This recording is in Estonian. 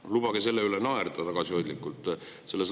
No lubage selle üle tagasihoidlikult naerda!